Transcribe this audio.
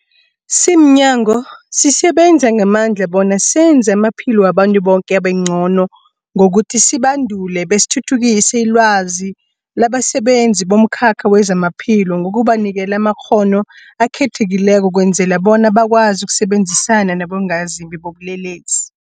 Simnyango, sisebenza ngamandla bona senze amaphilo wabantu boke abengcono ngokuthi sibandule besithuthukise ilwazi labasebenzi bomkhakha wezamaphilo ngokubanikela amakghono akhethekileko ukwenzela bona bakwazi ukusebenzisana nabongazimbi bobulelesi.